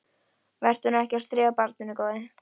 Vertu nú ekki að stríða barninu, góði.